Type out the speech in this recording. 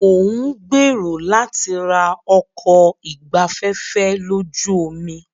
Mo ń gbèrò láti ra ọkọ̀ ìgbafẹ́fẹ́ lójú omi.